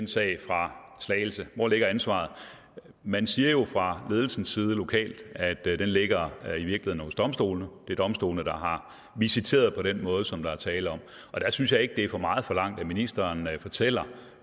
sag fra slagelse hvor ligger ansvaret man siger jo fra ledelsens side lokalt at det i virkeligheden ligger hos domstolene det er domstolene der har visiteret på den måde som der er tale om der synes jeg ikke det er for meget forlangt at ministeren fortæller